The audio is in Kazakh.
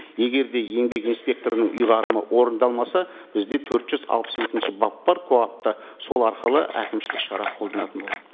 егер де еңбек инспекторының ұйғарымы орындалмаса бізде төрт жүз алпыс екінші бап бар коап та сол арқылы әкімшілік шара қолданылатын болады